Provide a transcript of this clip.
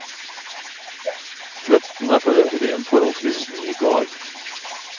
Fløtten er for øvrig en forholdsvis ny gard.